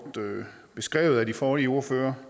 beskrevet af de forrige ordførere